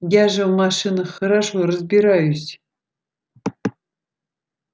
я же в машинах хорошо разбираюсь